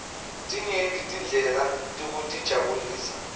tinyenti tindlela tekutijabulisa